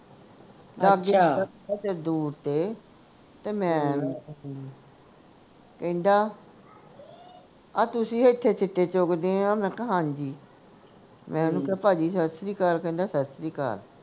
ਦੂਰ ਤੇ ਤੇ ਮੈਂ ਕਹਿੰਦਾ ਆਹ ਤੁਸੀਂ ਐਥੇ ਸਿੱਟੇ ਚੁਗਦੇ ਆ ਮੈਂ ਕਿਹਾ ਹਾਂਜੀ ਮੈਂ ਓਹਨੂੰ ਕਿਹਾ ਭਾਜੀ ਸੱਤ ਸ਼੍ਰੀ ਅਕਾਲ ਕਹਿੰਦਾ ਸੱਤ ਸ਼੍ਰੀ ਅਕਾਲ